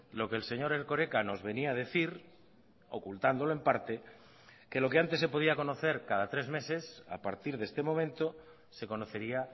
lo que el señor erkoreka nos venía a decir ocultándolo en parte que lo que antes se podía conocer cada tres meses a partir de este momento se conocería